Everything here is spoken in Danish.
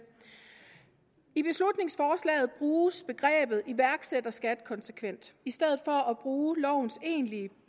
i beslutningsforslaget bruges begrebet iværksætterskat konsekvent i stedet for at bruge lovens egentlige